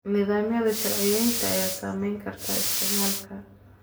Nidaamyada sharciyeynta ayaa saameyn kara isticmaalka.